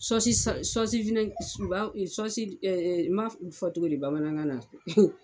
n ma fɔ cogo di bamanankan na.